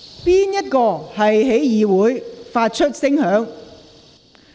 甚麼東西在會議廳內發出聲響？